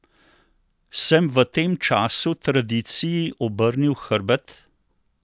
Sem v tem času tradiciji obrnil hrbet?